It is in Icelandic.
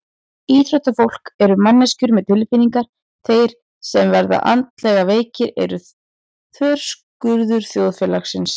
Íþróttafólk eru manneskjur með tilfinningar Þeir sem verða andlega veikir eru þverskurður þjóðfélagsins.